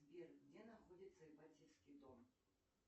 сбер где находится ипатьевский дом